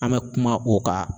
An bɛ kuma o ka